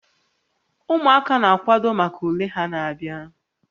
Ụmụaka na-akwado maka ule ha na-abịa